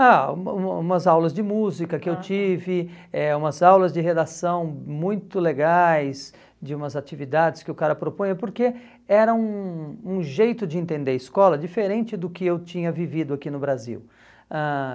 Ah, uma uma umas aulas de música que eu tive, aham, eh umas aulas de redação muito legais, de umas atividades que o cara propõe, porque era um um jeito de entender escola diferente do que eu tinha vivido aqui no Brasil. Ãh